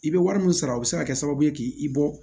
I bɛ wari min sara o bɛ se ka kɛ sababu ye k'i bɔ